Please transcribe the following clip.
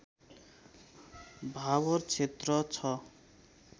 भाबर क्षेत्र ६